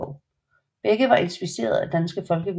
Begge var inspireret af danske folkeviser